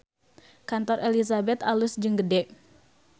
Kantor Elizabeth alus jeung gede